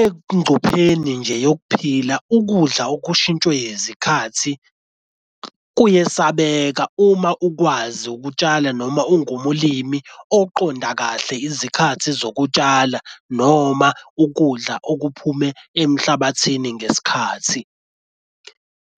Engcupheni nje yokuphila ukudla okushintshwe izikhathi kuyesabeka uma ukwazi ukutshala noma ungumlimi oqonda kahle izikhathi zokutshala noma ukudla okuphume emhlabathini ngesikhathi.